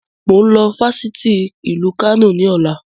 Mo ń lọ sí Fáṣítì Ìlú Kano ni ọ̀la.